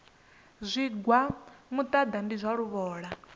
zwigwa muṱaḓa ndi zwa luvhola